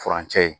Furancɛ